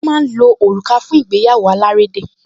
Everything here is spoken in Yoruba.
Wọ́n máa ń lo òrùka fún ìgbéyàwó alárédè